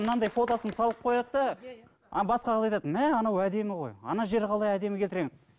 мынандай фотосын салып қояды да ана басқа қыз айтады мә анау әдемі ғой ана жерін қалай әдемі келтірген